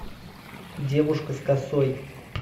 девушка с косой